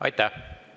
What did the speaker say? Aitäh!